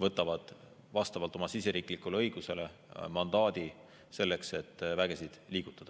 võtavad vastavalt oma siseriiklikule õigusele mandaadi selleks, et vägesid liigutada.